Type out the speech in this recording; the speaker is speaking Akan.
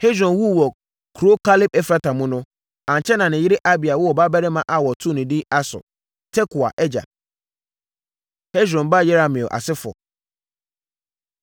Hesron wuu wɔ kuro Kaleb-Efrata mu no, ankyɛ na ne yere Abia woo ɔbabarima a wɔtoo no edin Asur (Tekoa agya). Hesron Ba Yerahmeel Asefoɔ